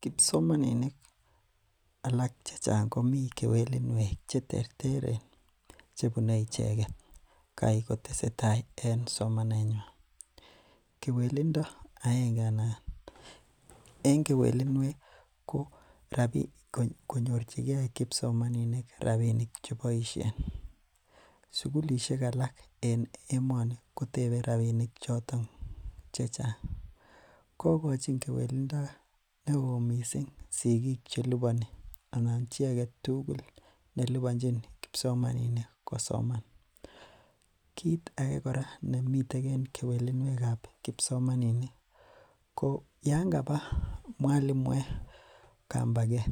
Kipsomaninik alak chechang komii kewelinwek cheterteren chebune icheket kaii koteseta en somnenywan, kewelindo akege anan en kewelinwek ko konyorchike kipsomaninik rabinik cheboishen, sukulishek alak en emoni kotebe rabinik choton chechang, kokochin kewelindo neoo mising sikik cheliboni anan icheket chii aketukul nelibonchin kipsomaninik kosoman, kit akee nemiten kewelinwekab kipsomaninik ko yoon kabaa mwalimuek kambaket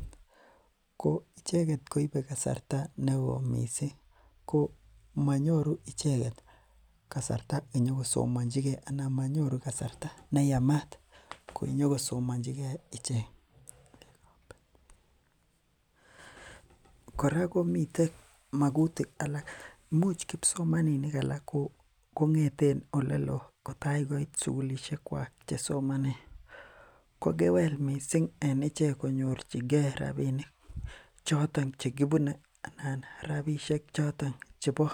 ko icheket koibe kasarta nekoi mising ko monyoru icheket kasarta inyokosoonchike anan monyoru kasarta neyamat inyokosomonchike icheket, kora komiten mokutik alak imuch kipsomaninik alak kongeten oleloo kotakoit sukulishekwak chesomonen ko kewel mising en ichek konyorchike rabinik choton chekibune anan rabishek choton chebo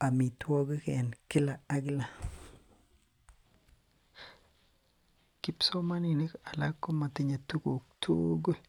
amitwokik en kila ak kila, kipsomaninik alak komotiye tukuk tukul.